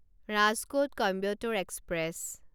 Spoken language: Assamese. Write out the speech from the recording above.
ৰাজকোট কইম্বটোৰ এক্সপ্ৰেছ